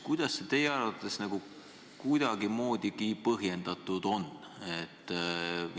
Kuidas see teie arvates kuidagimoodigi põhjendatud on?